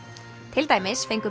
til dæmis fengu